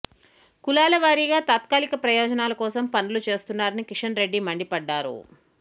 కులాల వారీగా తాత్కాలిక ప్రయోజనాల కోసం పనులు చేస్తున్నారని కిషన్ రెడ్డి మండిపడ్డారు